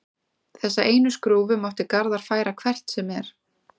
Þessa einu skrúfu mátti Garðar færa hvert sem er.